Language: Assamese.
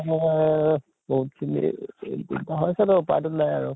এ বহুত খিনি অসুবিধা হৈছে উপায়টো নাই আৰু